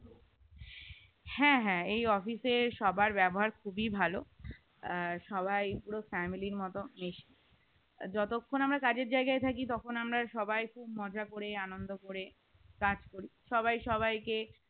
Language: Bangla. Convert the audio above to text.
হ্যাঁ হ্যাঁ এই office এর সবার ব্যবহার খুবই ভালো আর সবাই পুরো family র মতো মেশে যতক্ষণ আমরা কাজের জায়গায় থাকি তখন আমরা সবাই খুব মজা করে আনন্দ করে কাজ করি সবাই সবাইকে